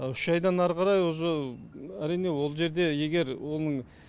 үш айдан ары қарай уже әрине ол жерде егер оның